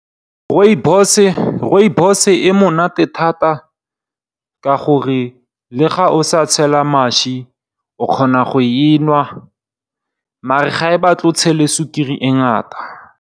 Rooibos e monate thata ka gore, le ga o sa tshela mašwi o kgona go e nwa maar, ga e batle o tshele sukiri e ngata.